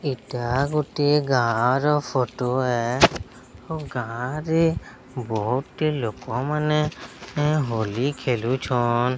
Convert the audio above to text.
ଏଟା ଗୋଟିଏ ଗାଁର ଫଟୋ ଏ ଓ ଗାଁରେ ବୋହୁତ୍ ଟେ ଲୋକମାନେ ଏଁ ହୋଲି ଖେଳୁଛନ୍।